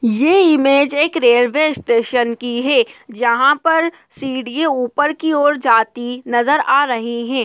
ये इमेज एक railway station की है जहाँ पर सीढ़ीए ऊपर की ओर जाती नजर आ रही हैं।